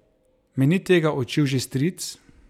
Me ni tega učil že stric?